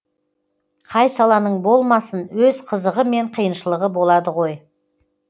қай саланың болмасын өз қызығы мен қиыншылығы болады ғой